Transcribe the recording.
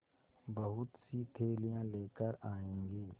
बहुतसी थैलियाँ लेकर आएँगे